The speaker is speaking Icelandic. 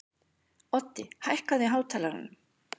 Oddi, hækkaðu í hátalaranum.